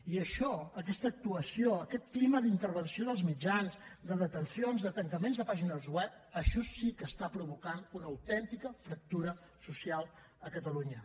i això aquesta actuació aquest clima d’intervenció dels mitjans de detencions de tancaments de pàgines web això sí que està provocant una autèntica fractura social a catalunya